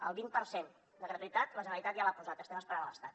el vint per cent de gratuïtat la generalitat ja l’hi ha posat estem esperant l’estat